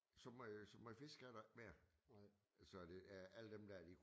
Så mange øh så mange fiskere er der ikke mere så det er alle dem der de